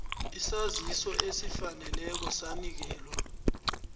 isaziso esifaneleko sanikelwa